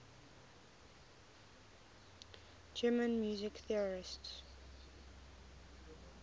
german music theorists